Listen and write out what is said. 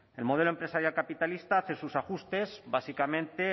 el modelo empresarial capitalista hace sus ajustes básicamente